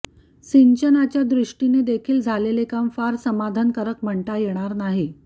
सिंचनाच्या दृष्टीने देखील झालेले काम फार समाधानकारक म्हणता येणार नाही